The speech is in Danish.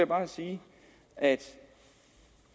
bare sige at